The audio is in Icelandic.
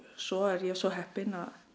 svo er ég svo heppin